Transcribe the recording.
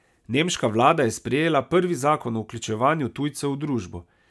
Nemška vlada je sprejela prvi zakon o vključevanju tujcev v družbo.